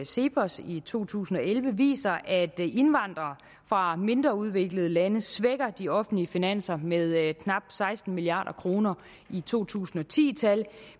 cepos i to tusind og elleve viser at indvandrere fra mindre udviklede lande svækker de offentlige finanser med knap seksten milliard kroner i to tusind og ti tal